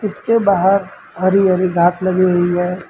उसके बाहर हरी हरी घास लगी हुई है।